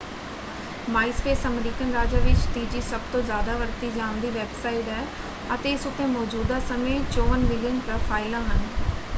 Myspace American ਰਾਜਾਂ ਵਿੱਚ ਤੀਜੀ ਸਭਤੋਂ ਜ਼ਿਆਦਾ ਵਰਤੀ ਜਾਂਦੀ ਵੈਬਸਾਈਟ ਹੈ ਅਤੇ ਇਸ ਉੱਤੇ ਮੌਜ਼ੂਦਾ ਸਮੇਂ 54 ਮਿਲੀਅਨ ਪ੍ਰੋਫਾਈਲਾਂ ਹਨ।